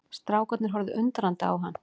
Strákarnir horfðu undrandi á hann.